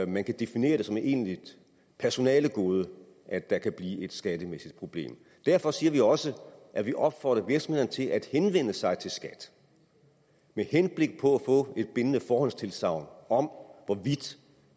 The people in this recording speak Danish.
man kan definere det som et egentligt personalegode at der kan blive et skattemæssigt problem derfor siger vi også at vi opfordrer virksomhederne til at henvende sig til skat med henblik på få et bindende forhåndstilsagn om hvorvidt